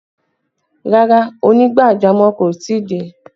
Rárá, onígbàjamọ̀ kò tí ì dé